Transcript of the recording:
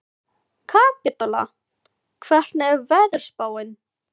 Kapítóla, hvernig er veðurspáin?